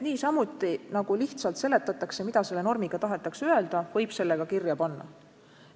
Niisamuti nagu lihtsalt seletatakse, mida selle või teise normiga tahetakse öelda, võib ju selle ka kirja panna.